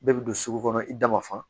Bɛɛ bi don sugu kɔnɔ i da ma fa